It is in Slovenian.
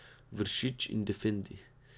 Vršič in Defendi.